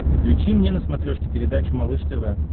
включи мне на смотрешке передачу малыш тв